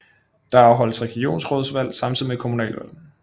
Der afholdes regionsrådsvalg samtidig med kommunalvalg